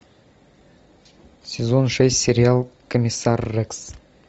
сезон шесть сериал комиссар рекс